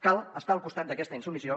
cal estar al costat d’aquesta insubmissió